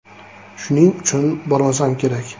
Shuning uchun bormasam kerak.